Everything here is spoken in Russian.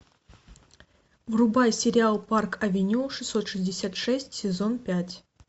врубай сериал парк авеню шестьсот шестьдесят шесть сезон пять